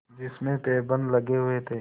जिसमें पैबंद लगे हुए थे